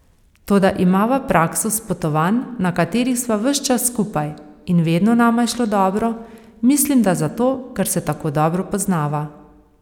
Toda imava prakso s potovanj, na katerih sva ves čas skupaj, in vedno nama je šlo dobro, mislim, da zato, ker se tako dobro poznava.